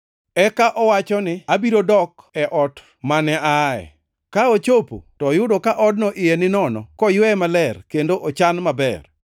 Eka owacho ni, ‘Abiro dok e ot mane aaye.’ Ka ochopo to oyudo ka odno iye ninono, koyweye maler kendo ochan maber.